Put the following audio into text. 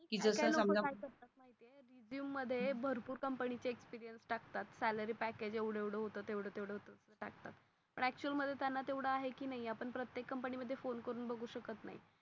Resume मधे भरपूर company चे experience टाकतात salary package एवडा एवडा होत तेवढ तेवढ होत टाकतात actul मधे त्यांना तेवड आहे कि नाही आपण प्रत्येक company मधे phone करुन बघू शकत नाही.